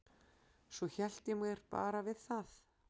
Svo hélt ég mér bara við það.